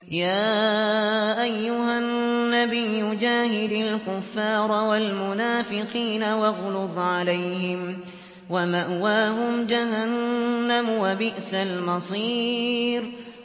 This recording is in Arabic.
يَا أَيُّهَا النَّبِيُّ جَاهِدِ الْكُفَّارَ وَالْمُنَافِقِينَ وَاغْلُظْ عَلَيْهِمْ ۚ وَمَأْوَاهُمْ جَهَنَّمُ ۖ وَبِئْسَ الْمَصِيرُ